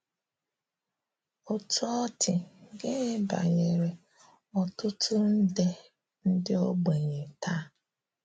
Ọ́tù̀ ọ̀ dị, gị́nị̀ banyerè ọ̀tụ̀tù̀ ndè ndị̀ ọ̀gbènyè̀ taa?